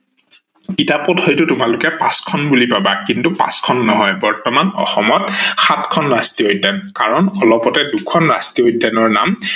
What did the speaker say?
কিতাপত হয়ত তোমালোকে পাচখ্ন বুলি পাবা কিন্তু পাচ খন নহয় বর্তমান অসমত সাতখন ৰাষ্ট্ৰীয় উদ্যান কাৰন অলপতে খুদন ৰাষ্ট্ৰীয় উদ্যানৰ নাম